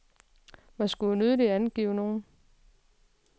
Man skulle jo nødig angive nogen.